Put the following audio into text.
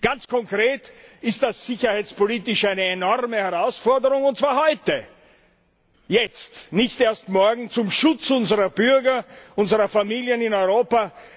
Ganz konkret ist das sicherheitspolitisch eine enorme Herausforderung, und zwar heute, jetzt, nicht erst morgen, zum Schutz unserer Bürger, unserer Familien in Europa!